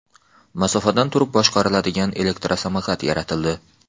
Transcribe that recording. Masofadan turib boshqariladigan elektrosamokat yaratildi.